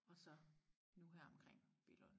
Og så nu her omkring Billund